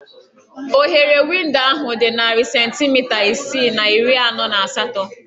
Oghere windo ahụ dị narị centimita isii na iri anọ na asatọ